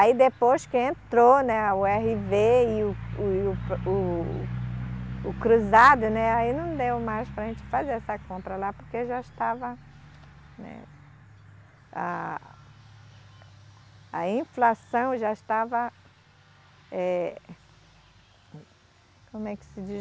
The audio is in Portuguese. Aí depois que entrou, né, o erre vê e o, o, o Cruzado, né, aí não deu mais para a gente fazer essa compra lá porque já estava, né, a inflação já estava, eh, como é que se diz?